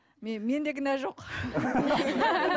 менде кінә жоқ